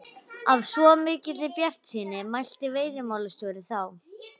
Af svo mikilli bjartsýni mælti veiðimálastjóri þá.